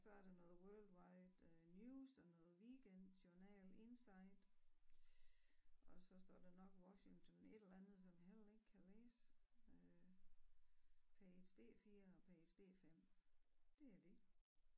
Så er der noget World Wide øh News og noget Weekend Journal Inside og så står der nok Washington et eller andet som jeg heller ikke kan læse øh Page B 4 og Page B 5 det er det